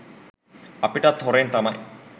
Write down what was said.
අපිටත් හොරෙන් තමයි